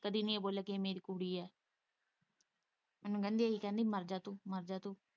ਕਦੀ ਨੀ ਇਹ ਬੋਲਿਆ ਕਿ ਇਹ ਮੇਰੀ ਕੁੜੀ ਏ ਮੈਨੂੰ ਕਹਿੰਦੀ ਇਹੀ ਕਹਿੰਦੀ ਮਰ ਜਾ ਤੂੰ ਮਰ ਜਾਂ ਤੂੰ।